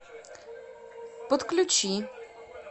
подключи